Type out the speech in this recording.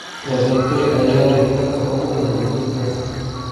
Wadankee ayaa leh dadka ugu badan adduunka?